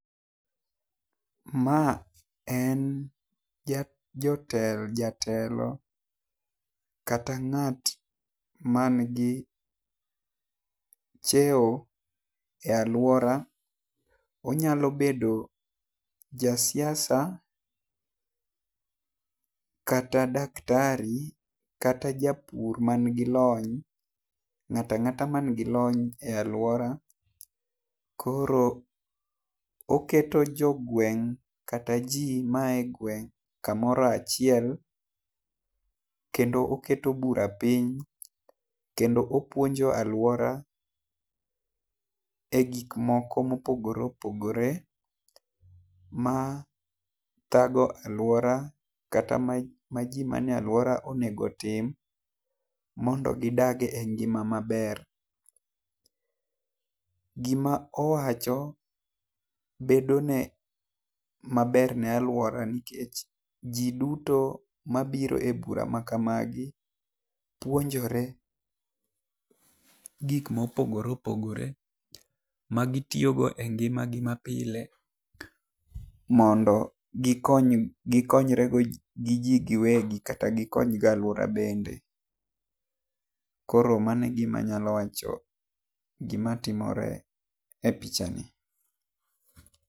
Ma en jotelo jatelo kata ng'at man gi cheo e aluora onyalo bedo jasiasa kata daktari kata japur man gi lony ng'ato ang'ata man gin lony e aluora. Koro oketo jo gweng kata jo ma ae gweng ka moro achiel, kendo oketo bura piny kendo opuonjo aluora e gik moko ma opogore opogore ma thago aluora kata ma ji ma ne aluora onego otim mondo gi dage e ngima ma ber gi ma owacho bedo ne ma ber ne aluora nikech ji duto ma biro e bura ma kamagi puonjore gik ma opogore opogore ma gi tiyo go e ngima gi ma pile mondo gi kony gi konyre gi gi wegi kata gi kony go aluora bende . Koro mano e gi ma anyalo wacho gi ma timore e picha ni.